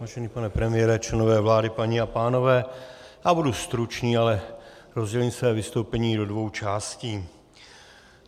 Vážený pane premiére, členové vlády, paní a pánové, já budu stručný, ale rozdělím své vystoupení do dvou částí.